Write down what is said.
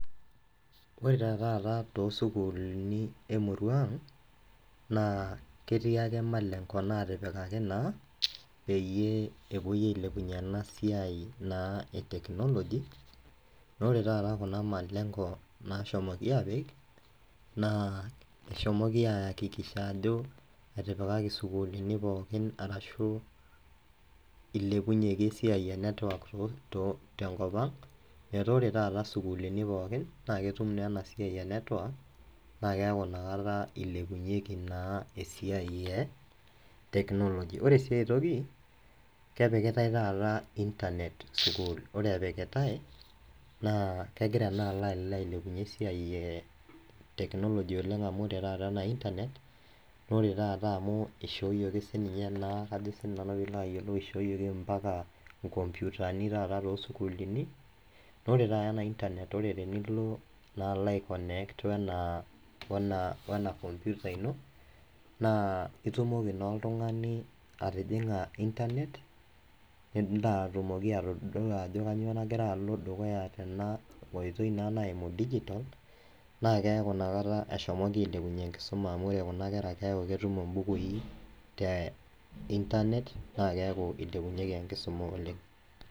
Ore tetaata tosukuluni emurua ang naa ketii ake malengo natipikaki naa peyie epuoi ailepunyie ena siai naa e technology naa ore taata kuna malengo nashomoki apik naa eshomoki ayakikisha ajo etipikaki isukulini pookin arashu ilepunyieki esiai e network too tenkop ang metaa ore taata isukulini pookin naa ketum naa ena siai e network naa keeku inakata ilepunyieki naa esiai e technology ore sii ae toki kepikitae taata internet sukul ore epikitae naa kegira naa alo ailepunyie esiai e technology oleng amu ore taata ena [csinternet nore taata amu ishoyioki sininye naa kajo sinani piilo ayiolou ishooyioki impaka inkompiutani taata tosokuluni nore taata ena internet ore tenilo naa alo ae connect wena wena computer ino naa itumoki naa oltung'ani atijing'a internet nilo atumoki atodua ajo kanyoo nagira alo dukuya tena oitoi naa naimu digital naa keeku inakata eshomoki ailepunyie enkisuma amu ore kuna kera keeku ketum imbukui te internet naa keeku ilepunyieki enkisuma oleng.